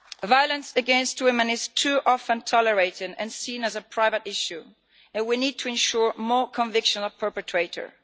Violence against women is too often tolerated and seen as a private issue, and we need to ensure more convictions of perpetrators.